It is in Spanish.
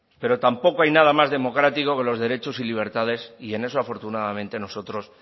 pero tampoco hay nada más democrático que los derechos y libertades y en eso afortunadamente nosotros